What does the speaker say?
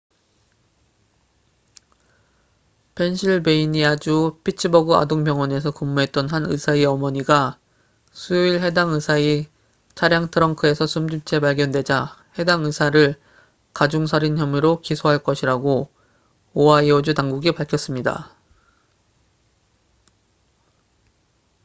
펜실베이니아주 피츠버그 아동 병원에서 근무했던 한 의사의 어머니가 수요일 해당 의사의 차량 트렁크에서 숨진 채 발견되자 해당 의사를 가중 살인 혐의로 기소할 것이라고 오하이오주 당국이 밝혔습니다